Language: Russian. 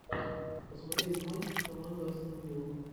посмотреть матч команда астон вилла